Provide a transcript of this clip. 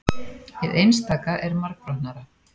Hið einstaka er margbrotnara.